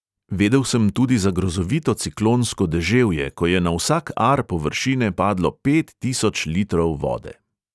Vedel sem tudi za grozovito ciklonsko deževje, ko je na vsak ar površine padlo pet tisoč litrov vode.